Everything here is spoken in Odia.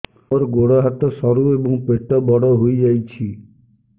ମୋର ଗୋଡ ହାତ ସରୁ ଏବଂ ପେଟ ବଡ଼ ହୋଇଯାଇଛି